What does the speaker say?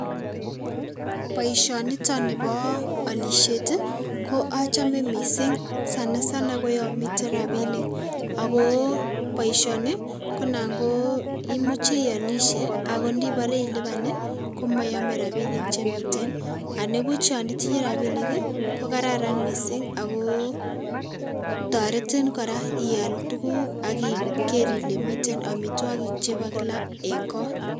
Boishoniton niboo olishet ko achome mising Sana sana koyomiten rabinik ak ko boishoni ko naan imuche iyolishe ak indiboree iliban komoyome rabinik chemiten, nibuch yoon itinyee rabinik ko kararan mising ak ko toretin kora iaal tukuk AK ikerr ilee miten omitwokik chebo kila en koot.